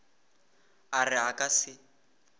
a re a ka se